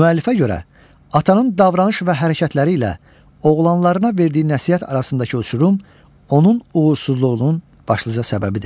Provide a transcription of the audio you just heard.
Müəllifə görə atanın davranış və hərəkətləri ilə oğlanlarına verdiyi nəsihət arasındakı uçurum onun uğursuzluğunun başlıca səbəbidir.